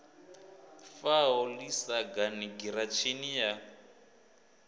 faho ḓi sagani giratshini ya